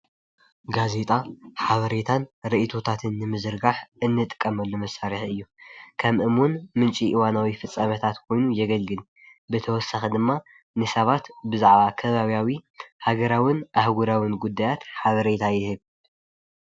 ጋዜጣ ሓበሬታን ርኢቶታን ንምዝርጋሕ እንጥቀመሉ መሳርሒ እዩ። ከም እሙን ምንጪ እዋናዊ ፍፃሜታት ኮይኑ የገልግል። ብተወሳኪ ድማ ንሰባት ብዛዕባ ከባቢያዊ፣ ሀገራዊን ኣህግራዊን ጉዳያት ሓበሬታ ይህብ።